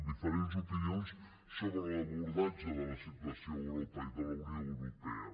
diferents opinions sobre l’abordatge de la situació a europa i de la unió europea